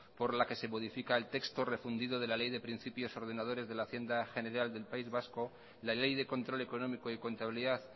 por la que se modifica el texto refundido de la ley de principios ordenadores de la hacienda general del país vasco la ley de control económico y contabilidad